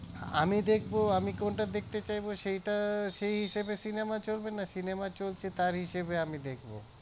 আমি দেখবো আমি কোনটা দেখতে চাইবো সেইটা সেই হিসেবে cinema চলবে নাকি cinema চলছে তার হিসেবে আমি দেখবো